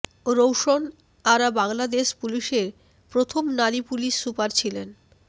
রৌশন আরা বাংলাদেশ পুলিশের প্রথম নারী পুলিশ সুপার ছিলেন